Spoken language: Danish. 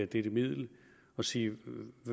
dette middel og sige